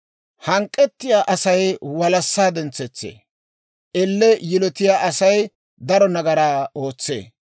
Hank'k'etiyaa Asay walassaa dentsetsee; elle yilotiyaa Asay daro nagaraa ootsee.